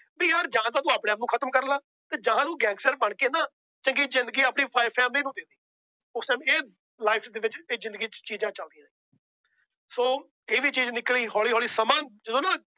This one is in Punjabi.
ਵੀ ਯਾਰ ਜਾਂ ਤਾਂ ਤੂੰ ਆਪਣੇ ਆਪ ਨੂੰ ਖਤਮ ਕਰ ਲੈ। ਜਾਂ ਤੂੰ Gangster ਬਣ ਕੇ ਨਾ ਚੰਗੀ ਜਿੰਦਗੀ ਆਪਣੀ family ਨੂੰ। ਉਸ ਦਿਨ Life ਚ ਜਿੰਦਗੀ ਚ ਇਹ ਚੀਜ਼ ਚਲਦੀਆ ਸੀ। ਸੋ ਇਹ ਵੀ ਚੀਜ਼ ਨਿਕਲੀ ਹੋਲੀ ਹੋਲੀ ਸਮਾਂ